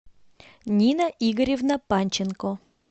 нина игоревна панченко